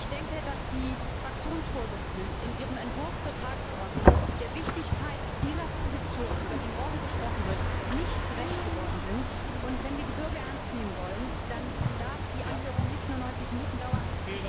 Ich denke, dass die Fraktionsvorsitzenden in ihrem Entwurf der Tagesordnung der Wichtigkeit dieser Position, über die morgen gesprochen wird, nicht gerecht geworden sind. Wenn wir die Bürger ernst nehmen wollen, dann darf die Anhörung nicht nur 90 Minuten dauern.